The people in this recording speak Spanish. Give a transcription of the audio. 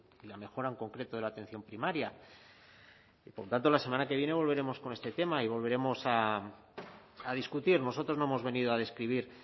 y la mejora en concreto de la atención primaria y por tanto la semana que viene volveremos con este tema y volveremos a discutir nosotros no hemos venido a describir